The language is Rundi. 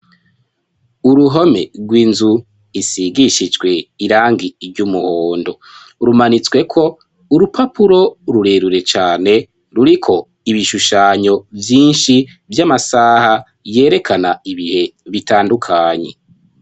Uruhome rw'inzu isigishijwe irangi ry'umuhondo rumanitsweko urupapuro rurerure cane ruriko ibishushanyo vyinshi vy'amasaha yerekana ibihe bitandukanye.